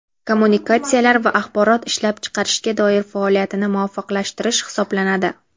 kommunikatsiyalar va axborot ishlab chiqarishga doir faoliyatini muvofiqlashtirish hisoblanadi.